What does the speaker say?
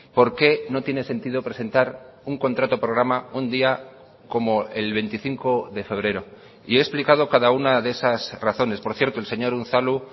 por qué no tiene sentido presentar un contrato programa un día como el veinticinco de febrero y he explicado cada una de esas razones por cierto el señor unzalu